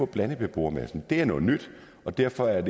blandet beboermasse det er noget nyt og derfor er